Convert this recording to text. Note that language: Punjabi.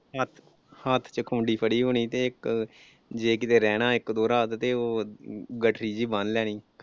ਹੱਥ ਚ ਖੂੰਡੀ ਫੜੀ ਹੋਣੀ ਤੇ ਇੱਕ ਜੇ ਕਿਤੇ ਰਹਿਣਾ ਇੱਕ ਦੋ ਰਾਤ ਤੇ ਉਹ ਗੱਠੜੀ ਜਿਹੀ ਬੰਨ ਲੈਣੀ।